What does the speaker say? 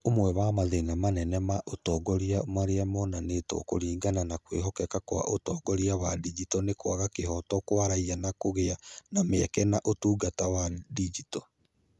Ũmwe wa mathĩna manene ma ũtongoria marĩa monanĩtwo kũringana na kwĩhokeka kwa ũtongoria wa digito nĩ kwaga kĩhooto kwa raiya kũgĩa na mĩeke na ũtungata wa digito.